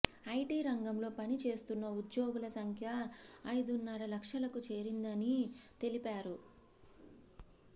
IT రంగంలో పని చేస్తున్న ఉద్యోగుల సంఖ్య ఐదున్నర లక్షలకు చేరిందని తెలిపారు